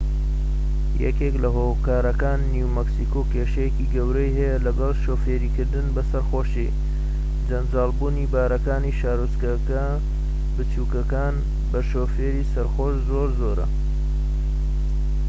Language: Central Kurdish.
یەکێك لە هۆکارەکان نیو مەکسیکۆ کێشەیەکی گەورەی هەیە لەگەڵ شۆفێریکردن بە سەرخۆشی جەنجاڵبوونی باڕەکانی شارۆچکە بچوکەکان بە شۆفێری سەرخۆش زۆر زۆرە